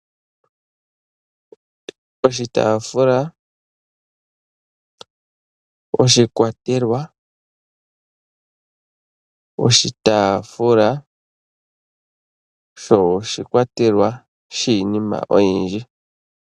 Oshitaafula, oshikwatelwa, oshitaafula sho oshikwatelwa shiinima oyindji.